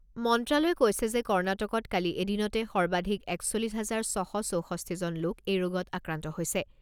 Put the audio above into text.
মন্ত্ৰালয়ে কৈছে যে কৰ্ণাটকত কালি এদিনতে সৰ্বাধিক একচল্লিছ হাজাৰ ছশ চৌষষ্ঠিজন লোক এই ৰোগত আক্ৰান্ত হৈছে।